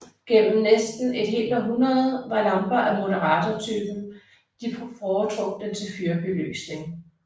Gennem næste et helt århundrede var lamper af moderatørtypen de foretrukne til fyrbelysning